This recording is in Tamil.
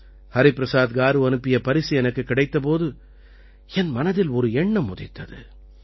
ஹரிபிரசாத் காரு அனுப்பிய பரிசு எனக்குக் கிடைத்த போது என் மனதில் ஒரு எண்ணம் உதித்தது